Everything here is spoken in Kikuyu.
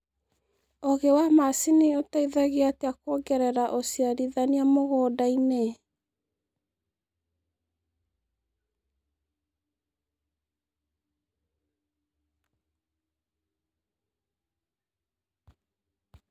Ũũgĩ wa macini ũteithagia atĩa kuongerera ũciarithania mũgũnda-inĩ?